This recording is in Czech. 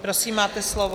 Prosím, máte slovo.